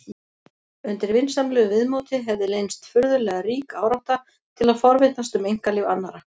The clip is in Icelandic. Undir vinsamlegu viðmóti hefði leynst furðulega rík árátta til að forvitnast um einkalíf annarra.